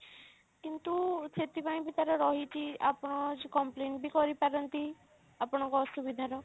କିନ୍ତୁ ସେଥିପାଇଁ ବି ତାର ରହିଛି ଆପଣ complain ବି କରିପାରନ୍ତି ଆପଣଙ୍କ ଅସୁବିଧା ର